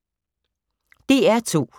DR2